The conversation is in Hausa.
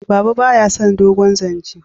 baba ba ya son dogon zance